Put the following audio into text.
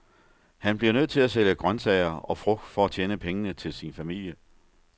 Han bliver nødt til at sælge grøntsager og frugt for at tjene penge til sin familie.